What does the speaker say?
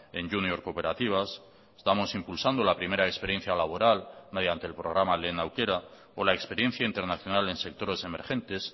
en junior cooperativas estamos impulsando la primera experiencia laboral mediante el programa lehen aukera o la experiencia internacional en sectores emergentes